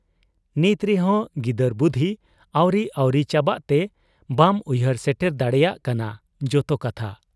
ᱱᱤᱛ ᱨᱮᱦᱚᱸ ᱜᱤᱫᱟᱹᱨ ᱵᱩᱫᱷᱤ ᱟᱹᱣᱨᱤ ᱟᱹᱣᱨᱤ ᱪᱟᱵᱟᱜ ᱛᱮ ᱵᱟᱢ ᱩᱭᱦᱟᱹᱨ ᱥᱮᱴᱮᱨ ᱫᱟᱲᱮᱭᱟᱜ ᱠᱟᱱᱟ ᱡᱚᱛᱚ ᱠᱟᱛᱷᱟ ᱾